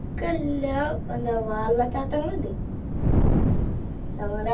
ക്കല്ല~ എന്താ വെള്ളച്ചാട്ടങ്ങളുണ്ട്. ഞങ്ങളെ